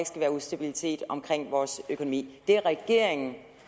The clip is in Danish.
skal være ustabilitet omkring vores økonomi det er regeringen